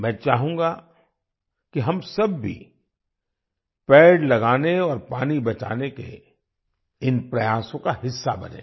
मैं चाहूँगा कि हम सब भी पेड़ लगाने और पानी बचाने के इन प्रयासों का हिस्सा बनें